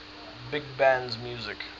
big band music